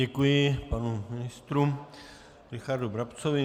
Děkuji panu ministrovi Richardu Brabcovi.